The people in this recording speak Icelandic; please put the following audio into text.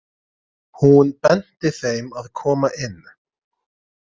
Hún benti þeim að koma inn.